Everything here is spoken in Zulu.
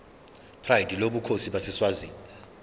pride lobukhosi baseswazini